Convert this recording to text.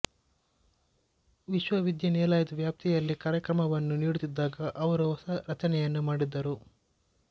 ವಿಶ್ವವಿದ್ಯಾನಿಲಯದ ವ್ಯಾಪ್ತಿಯಲ್ಲಿ ಕಾರ್ಯಕ್ರಮವನ್ನು ನೀಡುತ್ತಿದ್ದಾಗ ಅವರು ಹೊಸ ರಚನೆಗಳನ್ನು ಮಾಡಿದರು